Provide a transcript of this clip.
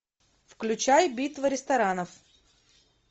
включай битва ресторанов